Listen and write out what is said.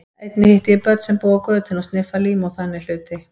Einnig hitti ég börn sem búa á götunni og sniffa lím og þannig hluti.